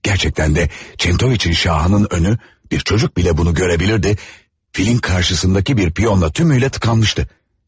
Həqiqətən də Çentoviçin şahının önü, bir uşaq belə bunu görə bilərdi, filin qarşısındakı bir piyonla tümüylə tıxanmışdı.